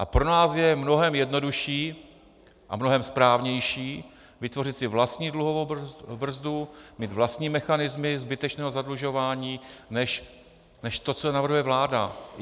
A pro nás je mnohem jednodušší a mnohem správnější vytvořit si vlastní dluhovou brzdu, mít vlastní mechanismy zbytečného zadlužování než to, co navrhuje vláda.